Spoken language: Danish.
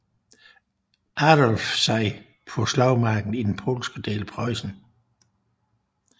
Adolf sig på slagmarken i den polske del af Preussen